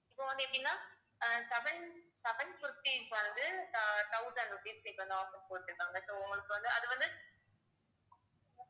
இப்ப வந்து எப்படின்னா ஆஹ் seven seven kurtis க்கு வந்து ஆஹ் thousand rupees க்கு வந்து offer போட்ருக்காங்க so உங்களுக்கு வந்து அது வந்து